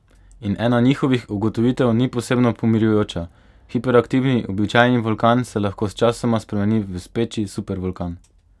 In ena njihovih ugotovitev ni posebno pomirjujoča: 'hiperaktivni' običajni vulkan se lahko sčasoma spremeni v 'speči' supervulkan.